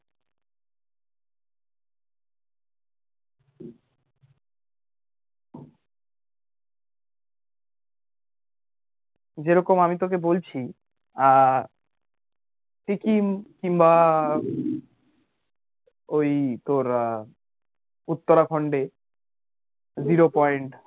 যে রকম আমি তোকে বলছি আহ সিকিম কিংবা ওই তোর আহ উত্তরাখন্ডে zero point এ